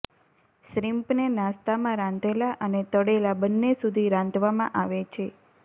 શ્રિમ્પને નાસ્તામાં રાંધેલા અને તળેલા બંને સુધી રાંધવામાં આવે છે